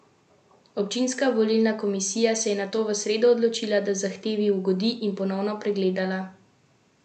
Občinska volilna komisija se je nato v sredo odločila, da zahtevi ugodi, in ponovno pregledala glasovnice na vseh tridesetih voliščih.